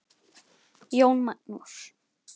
Jón Magnús.